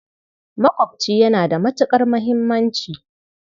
Maƙwaɓci yana da matuƙar muhimmanci.